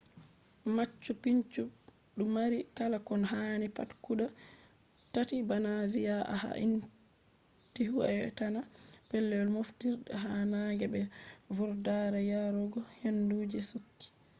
machu picchu du mari kala ko hani pat guda tatti, bana vi`a ha`intihuatana pellel mofturde ha nange be vurdare yarugo hendu je chudi